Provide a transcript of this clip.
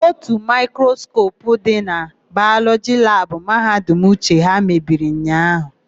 Ótù maịkroskopu dị na Bayọlọjị labụ Mahadum Uche ha mebiri ụnyaahụ.